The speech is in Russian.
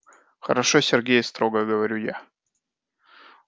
хорошо сергей строго говорю я